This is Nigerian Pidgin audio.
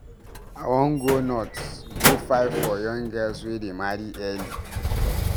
I wan go north go fight for young girls wey dey marry early.